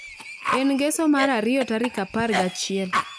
En ngeso mar ariyo tarik apar gi achiel